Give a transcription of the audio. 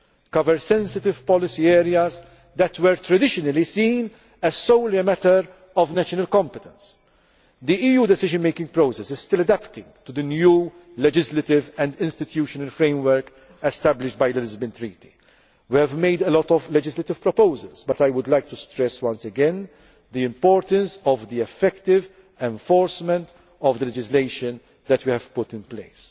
the agenda. Justice and home affairs cover sensitive policy areas that were traditionally seen as solely a matter of national competence. The EU decision making process is still adapting to the new legislative and institutional framework established by the Lisbon Treaty. We have made a lot of legislative proposals, but I would like to stress once again the importance of the effective enforcement of the